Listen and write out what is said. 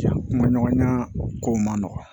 Kuma ɲɔgɔnya kow man nɔgɔn